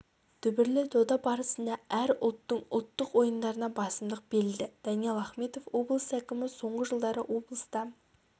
дүбірлі дода барысында әр ұлттың ұлттық ойындарына басымдық берілді даниал ахметов облыс әкімі соңғы жылдары облыста